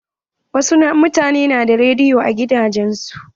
Wasu mutanen na da rediyo a gidajen su.